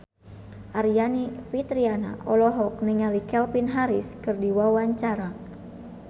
Aryani Fitriana olohok ningali Calvin Harris keur diwawancara